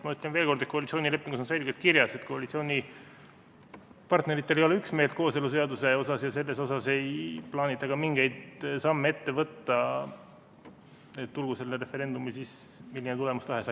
Ma ütlen veel kord, et koalitsioonilepingus on selgelt kirjas, et koalitsioonipartneritel ei ole üksmeelt kooseluseaduse asjus ja ei plaanita ka mingeid samme ette võtta, tulgu sellel referendumil siis milline tulemus tahes.